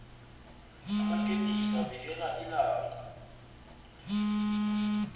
amakepisi avikela ilanga